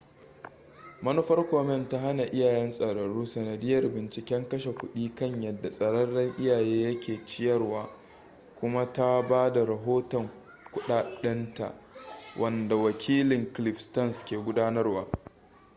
manufar komen ta hana iyayen tsararru sanadiyyar binciken kashe kudi kan yadda tsararren iyaye yake ciyarwa kuma ta ba da rahoton kuɗaɗɗinta wanda wakilin cliff stearns ke gudanarwa